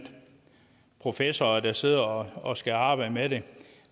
professor der sidder og og skal arbejde med det